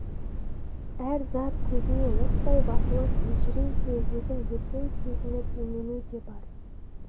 әр зат көзіне оттай басылып елжіреу де өзін бөтен сезініп имену де бар